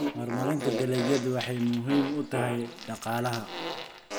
Horumarinta dalagyadu waxay muhiim u tahay dhaqaalaha.